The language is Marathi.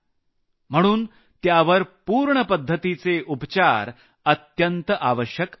म्हणून त्यावर पूर्ण पद्धतीचे उपचार अत्यंत आवश्यक असतात